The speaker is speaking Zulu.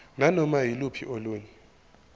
nanoma yiluphi olunye